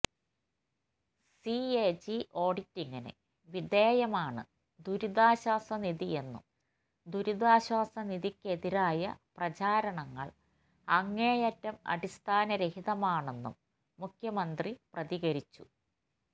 CAG ഓഡിറ്റിംഗിന് വിധേയമാണ് ദുരിതശ്വാസ നിധിയെന്നും ദുരിതാശ്വാസ നിധിക്കെതിരായ പ്രചാരണങ്ങൾ അങ്ങേയറ്റം അടിസ്ഥാനരഹിതമാണെന്നും മുഖ്യമന്ത്രി പ്രതികരിച്ചു